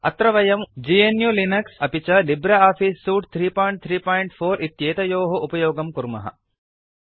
अत्र वयम् GNU Linux अपि च लिब्रे आफीस् सूट् 334 इत्येतयोः उपयोगं कुर्मः